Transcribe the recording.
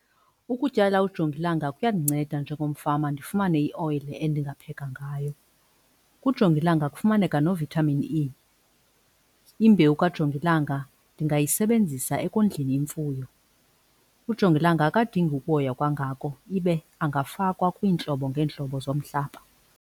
Ukutyala ujongilanga kuyandinceda njengomfama ndifumane ioyile endingapheka ngayo. Kujongilanga kufumaneka no-Vitamin E. Imbewu kajongilanga ndingayisebenzisa ekondleni imfuyo. Ujongilanga akadingi ukuhoywa kangako ibe angafakwa kwiintlobo ngeentlobo zomhlaba.